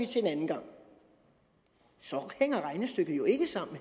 til en anden gang så hænger regnestykket jo ikke sammen